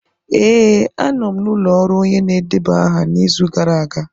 Ee, anọ m n'ụlọ ọrụ onye na-edeba aha n'izu gara aga.